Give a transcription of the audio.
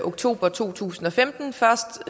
oktober to tusind og femten først